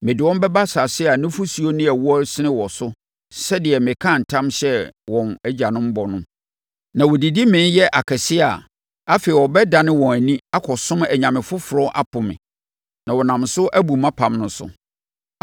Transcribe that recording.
Mede wɔn bɛba asase a nufosuo ne ɛwoɔ resene wɔ so sɛdeɛ mekaa ntam hyɛɛ wɔn agyanom bɔ no. Na wɔdidi mee yɛ akɛseɛ a, afei, wɔbɛdane wɔn ani akɔsom anyame afoforɔ apo me, na wɔnam so abu mʼapam no so.